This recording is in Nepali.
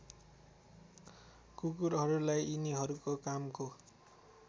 कुकुरहरूलाई यिनीहरूको कामको